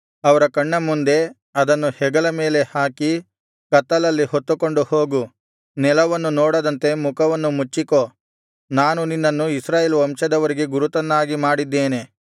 ಅವರ ಕಣ್ಣ ಮುಂದೆ ಅದನ್ನು ಹೆಗಲ ಮೇಲೆ ಹಾಕಿ ಕತ್ತಲಲ್ಲಿ ಹೊತ್ತುಕೊಂಡು ಹೋಗು ನೆಲವನ್ನು ನೋಡದಂತೆ ಮುಖವನ್ನು ಮುಚ್ಚಿಕೋ ನಾನು ನಿನ್ನನ್ನು ಇಸ್ರಾಯೇಲ್ ವಂಶದವರಿಗೆ ಗುರುತನ್ನಾಗಿ ಮಾಡಿದ್ದೇನೆ